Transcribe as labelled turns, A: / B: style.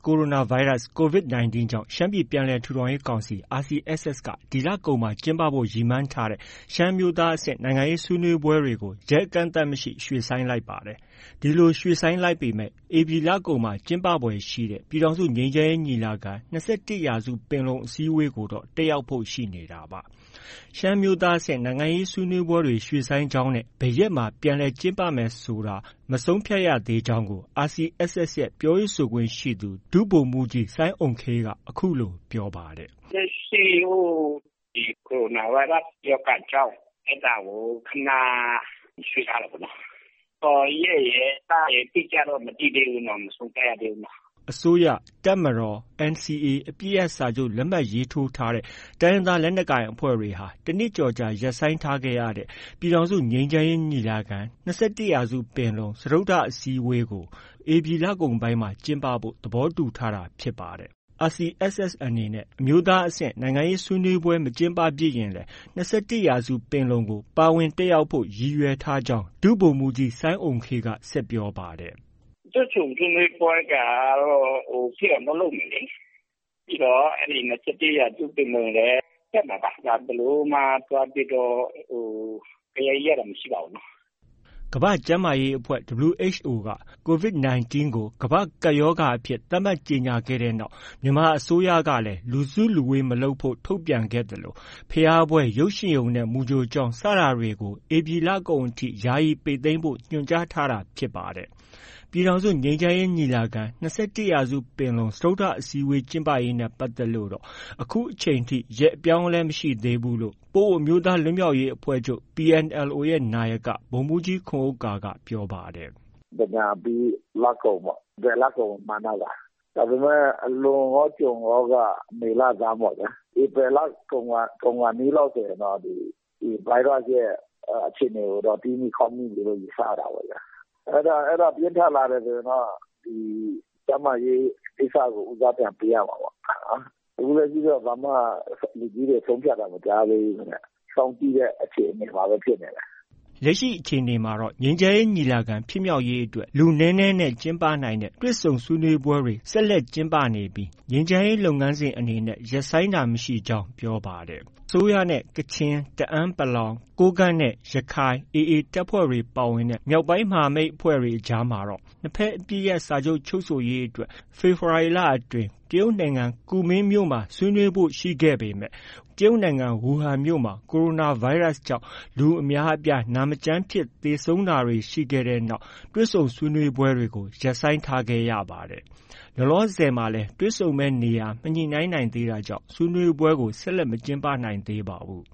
A: ိုရိုနာဗိုင်းရပ်စ် (Covid-19) ကြောင့် ရှမ်းပြည်ပြန်လည်ထူထောင်ရေးကောင်စီ RCSS က ဒီလကုန်မှာ ကျင်းပဖို့ ရည်မှန်းထားတဲ့ ရှမ်းအမျိုးသားအဆင့် နိုင်ငံရေးဆွေးနွေးပွဲတွေကို ရက်အကန့်အသတ်မရှိ ရွှေ့ဆိုင်းလိုက်ပါတယ်။ ဒီလို ရွှေ့ဆိုင်းလိုက်ပေမဲ့ ဧပြီလကုန်မှာ ကျင်းပဖွယ်ရှိတဲ့ ပြည်ထောင်စု ငြိမ်းချမ်းရေးညီလာခံ- ၂၁ရာစုပင်လုံ အစည်းအဝေးကိုတော့ တက်ရောက်ဖို့ ရှိနေတာပါ။ ရှမ်းအမျိုးသားအဆင့် နိုင်ငံရေးဆွေးနွေးပွဲရွှေ့ဆိုင်းကြောင်းနဲ့ ဘယ်ရက်မှာ ပြန်လည်ကျင်းပမယ်ဆိုတာ မဆုံးဖြတ်ရသေးကြောင်းကို RCSS ရဲ့ ပြောရေးဆိုခွင့်ရှိသူ ဒုဗိုလ်မှုးကြီး စိုင်းအုမ်ခေးက အခုလိုပြောပါတယ်။
B: “လက်ရှိ ကိုရိုနာဗိုင်းရပ်စ် ရောဂါကြောင့် အဲဒါကို ခဏ ရွှေ့ထားတာပေါ့နော်။ ရက်ရယ်၊ လရယ် အတိအကျတော့ မသိသေးဘူးနော်။ မဆုံးဖြတ်ရသေးဘူးနော်။”
A: အစိုးရ၊ တပ်မတော်နဲ့ NCA အပစ်ရပ်စာချုပ် လက်မှတ်ရေးထိုးထားတဲ့ တိုင်းရင်းသားလက်နက်ကိုင်အဖွဲ့တွေဟာ တနှစ်ကျော်ကြာ ရပ်ဆိုင်းထားရတဲ့ ပြည်ထောင်စုငြိမ်းချမ်းရေးညီလာခံ - ၂၁ရာစု ပင်လုံ စတုတ္ထအစည်းအဝေးက ဧပြီလကုန်ပိုင်းမှာ ကျင်းပဖို့ သဘောတူထားတာဖြစ်ပါတယ်။ RCSS အနေနဲ့ အမျိုးသားအဆင့် နိုင်ငံရေးဆွေးနွေးပွဲ မကျင်းပဖြစ်ရင်လည်း ၂၁ ရာစုပင်လုံကို ပါဝင်တက်ရောက်ဖို့ ရည်ရွယ်ထားကြောင်း ဒုဗိုလ်မှုးကြီး စိုင်းအုမ်ခေးက ဆက်ပြောပါတယ်။
B: “တွေ့ဆုံဆွေးနွေးပွဲက ဖြစ်အောင်တော့ လုပ်မယ်လေ။ ပြီးတော့ ၂၁ ရာစုပင်လုံလည်း တက်မှာပါ။ ဘယ်လိုမှ သွားပြီးတော့ ဂယက် ရိုက်တာ မရှိပါဘူးနော။”
A: ကမ္ဘာ့ကျန်းမာရေးအဖွဲ့ WHO က Covid-19 ကို ကမ္ဘာ့ကပ်ရောဂါအဖြစ်သတ်မှတ်ကြေညာခဲ့တဲ့နောက် ြမန်မာနိုင်ငံအစိုးရကလည်း လူစုလူဝေးမလုပ်ဖို့ ထုတ်ပြန်ခဲ့သလို ဘုရားပွဲ၊ ရုပ်ရှင်ရုံနဲ့ မူကြိုကျောင်း စတာတွေ ဧပြီလကုန်အထိ ယာယီပိတ်သိမ်းဖို့ ညွှန်ကြားထားတာဖြစ်ပါတယ်။ ပြည်ထောင်စုငြိမ်းချမ်းရေးညီလာခံ - ၂၁ရာစု ပင်လုံ စတုတ္ထအစည်းအဝေးကျင်းပရေးနဲ့ပတ်သက်လို့တော့ အခုချိန်အထိ ရက်အပြောင်းအလဲ မရှိသေးဘူးလို့လည်း ပအိုဝ်းအမျိုးသားလွတ်မြောက်ရေးအဖွဲ့ချုပ် PNLO နာယက ဗိုလ်မှုးကြီး ခွန်ဥက္ကာက ပြောပါတယ်။
B: “သင်္ကြန်အပြီး လကုန်ပေါ့။ ဧပြီလကုန်ကို မှန်းထားပါတယ်။ ဒါပေမဲ့ လွန်ရော ကျွံရောက မေလဆန်းပေါ့ဗျာ။ ဧပြီလကုန်ခါနီးလောက်ဆိုရင်တော့ ဒီ ဗိုင်းရပ်စ်ရဲ့အခြေအနေကိုတော့ တီးမိခေါက်မိပြီလို့ ယူဆရတာပေါ့ဗျာ။ အဲဒါ ပြင်းထန်လာတယ်ဆိုရင်တော့ ကျန်းမာရေးကိစ္စကို ဦးစားပြန်ပေးရမှာပေါ့ဗျာ။ အခုထိတော့ ဘာမှ လူကြီးတွေ ဆုံးဖြတ်ထားတာမရှိသေးဘူးခင်ဗျ။ စောင့်ကြည့်တဲ့အခြေအနေမှာပဲ ဖြစ်နေတယ်။
A: ” လက်ရှိအခြေအနေမှာတော့ ငြိမ်းချမ်းရေးညီလာခံဖြစ်မြောက်ရေးအတွက် လူနည်းနည်းနဲ့ ကျင်းပနိုင်တဲ့ တွေ့ဆုံဆွေးနွေးပွဲတွေ ဆက်လက်ကျင်းပနေပြီး ငြိမ်းချမ်းရေးလုပ်ငန်းစဉ်အနေနဲ့ ရပ်ဆိုင်းတာမရှိကြောင်း ပြောပါတယ်။ အစိုးရနဲ့ ကချင်၊ တအန်း(ပလောင်)၊ ကိုးကန့်နဲ့ ရခိုင်(AA) တပ်ဖွဲ့ ပါဝင်တဲ့ မြောက်ပိုင်းမဟာမိတ်အဖွဲ့တွေ အကြားမှာတော့ နှစ်ဘက်အပစ်ရပ်စာချုပ်ချုပ်ဆိုရေးအတွက် ဖေဖော်ဝါရီလအတွင်း တရုတ်နိုင်ငံ ကူမင်းမြို့မှာ ဆွေးနွေးဖို့ ရှိခဲ့ပေမဲ့ တရုတ်နိုင်ငံ ဝူဟန်မြို့မှာ ကိုရိုနာဗိုင်းရပ်စ်ကြောင့် လူအများအပြား နာမကျန်းဖြစ် သေဆုံး တာတွေဖြစ်ခဲ့တဲ့ တွေ့ဆုံဆွေးနွေးပွဲတွေကို ရပ်ဆိုင်းထားခဲ့ရပါတယ်။ လောလောဆယ်မှာလည်း တွေ့ဆုံမယ့် နေရာ မညှိနှိုင်းနိုင်သေးတာကြောင့် ဆွေးနွေးပွဲကို ဆက်လက် မကျင်းပနိုင်သေးပါဘူး